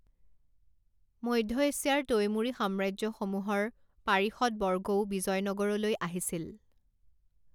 মধ্য এছিয়াৰ তৈমুৰি সাম্ৰাজ্যসমূহৰ পাৰিষদবৰ্গও বিজয়নগৰলৈ আহিছিল।